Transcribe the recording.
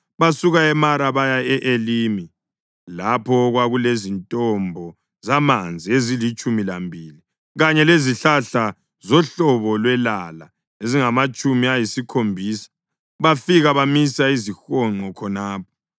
Basuka eMara baya e-Elimi, lapho okwakulezintombo zamanzi ezilitshumi lambili kanye lezihlahla zohlobo lwelala ezingamatshumi ayisikhombisa, bafika bamisa izihonqo khonapho.